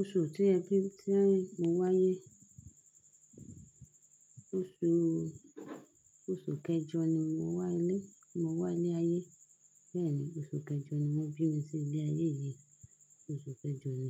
Oṣù tí ẹbí tí à ń mo wá ayé, oṣù, oṣù kẹjọ ni mo wá ilé, mo wá ilé ayé. Bẹ́ẹ̀ni oṣù kẹjọ ni wọ́n bí mi sí ilé ayé yìí. Oṣù kẹjọ ni,